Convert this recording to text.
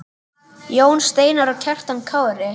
Jón Steinar og Kjartan Kári.